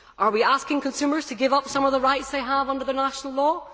Are we asking consumers to give up some of the rights they have under national law?